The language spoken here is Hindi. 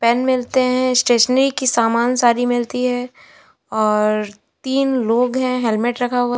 पेन मिलते हैं। स्टेशनरी की सामान सारी मिलती है और तीन लोग हैं हेलमेट रखा हुआ --